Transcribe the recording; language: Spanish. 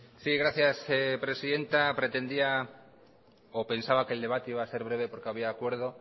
sí gracias presidenta pretendía o pensaba que el debate iba a ser breve porque había acuerdo